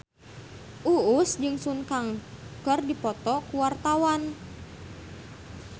Uus jeung Sun Kang keur dipoto ku wartawan